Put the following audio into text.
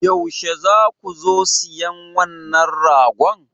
Yaushe za ku zo siyan wannan ragon?